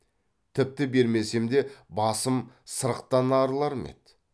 тіпті бермесем де басым сырықтан арылар ма еді